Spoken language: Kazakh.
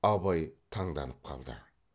абай таңданып қалды